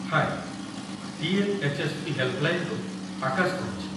ହାଏ ! TNHSP. ହେଲ୍‌ପ୍‌ଲାଇନ୍‌ରୁ ଆକାଶ କହୁଛି